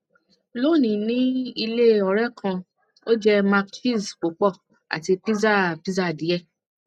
lónìí ní ilé ọrẹ kan ó jẹ mac cheese pupo àti pizza pizza die